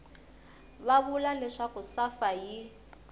va vula leswaku safa yi